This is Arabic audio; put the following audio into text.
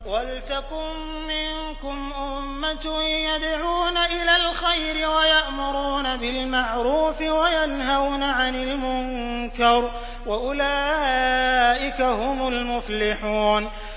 وَلْتَكُن مِّنكُمْ أُمَّةٌ يَدْعُونَ إِلَى الْخَيْرِ وَيَأْمُرُونَ بِالْمَعْرُوفِ وَيَنْهَوْنَ عَنِ الْمُنكَرِ ۚ وَأُولَٰئِكَ هُمُ الْمُفْلِحُونَ